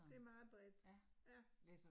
Det meget bredt, ja